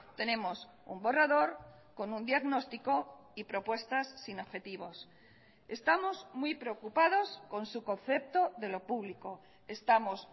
tenemos un borrador con un diagnóstico y propuestas sin objetivos estamos muy preocupados con su concepto de lo público estamos